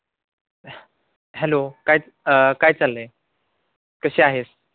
hello अं काय चालंय? कशी आहेस?